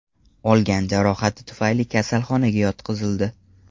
olgan jarohati tufayli kasalxonaga yotqizildi.